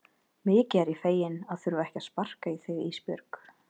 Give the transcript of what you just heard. Mikið er ég feginn að þurfa ekki að sparka í þig Ísbjörg.